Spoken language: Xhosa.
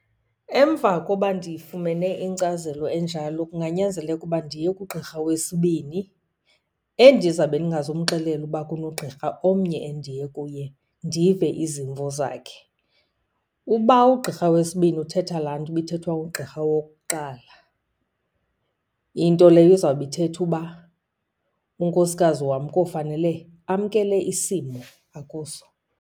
Emva koba ndifumene inkcazelo enjalo kunganyanzeleka uba ndiye kugqirha wesibini endizabe ndingazumxelela ukuba kunogqirha omnye endiye kuye, ndive izimvo zakhe. Uba ugqirha wesibini uthetha laa nto ibithethwa ngugqirha wokuqala, into leyo izawube ithetha uba unkosikazi wam kowufanele amkele isimo akuso.